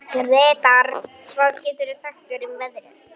Gretar, hvað geturðu sagt mér um veðrið?